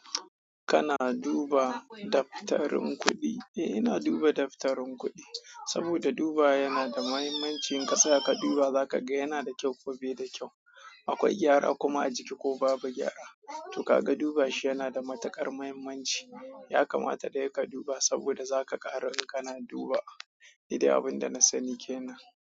Kana duba daftarin kuɗi? Eh ina duba daftarin kudi. Saboda dubawa yana da mahimmanci in ka saya ka duba za ka gan yana da kyau ko bai da kyau, akwai gyara kuma a ciki ko babu gyare to ka ga duba shi yana da matuƙar muhimmanci. Ya kamata dai ka duba saboda za ka ƙara idan kana duba. Nide abin da na sani kenan.